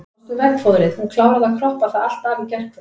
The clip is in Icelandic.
Sástu veggfóðrið, hún kláraði að kroppa það allt af í gærkvöld.